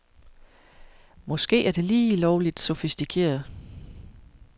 Måske er det lige lovligt sofistikeret.